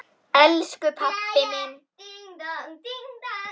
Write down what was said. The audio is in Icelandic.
Elsku pabbi minn!